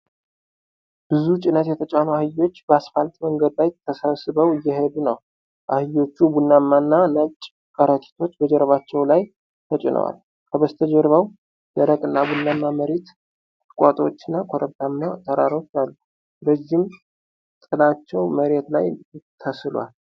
ብዙ ጭነት የተጫኑ አህዮች በአስፋልት መንገድ ላይ ተሰብስበው እየሄዱ ነው። አህዮቹ ቡናማና ነጭ ከረጢቶች በጀርባቸው ላይ ተጭነዋል። ከበስተጀርባው ደረቅና ቡናማ መሬት፣ ቁጥቋጦዎች እና ኮረብታማ ተራሮች አሉ። ረዥም ጥላቸው መሬት ላይ ተስሏል።